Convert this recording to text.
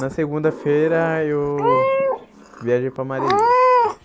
Na segunda-feira eu viajei para Marisias.